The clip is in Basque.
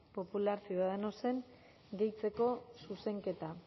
popular ciudadanosen gehitzeko zuzenketa